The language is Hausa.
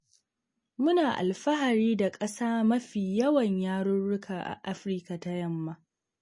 Muna alfahari da ƙasa mafi yawan yarurruka a Afirika ta yamma.